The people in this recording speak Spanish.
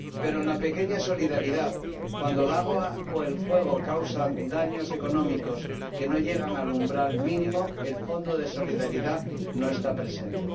Pero en la pequeña solidaridad, cuando el agua o el fuego causan daños económicos que no llegan al umbral mínimo, el Fondo de Solidaridad no está presente.